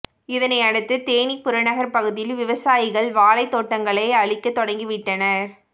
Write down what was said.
இதனையடுத்து தேனி புறநகர் பகுதியில் விவசாயிகள் வாழைத் தோட்டங்களை அழிக்கத் தொடங்கி விட்டனர்